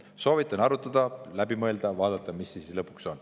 Soovitan arutada, läbi mõelda ja vaadata, mis siis lõpuks on.